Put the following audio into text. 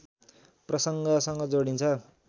प्रसङ्गसँग जोडिन्छ